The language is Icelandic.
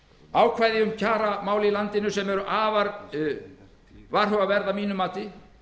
ákvæði um kjaramál í landinu sem eru afar varhugaverð að mínu mati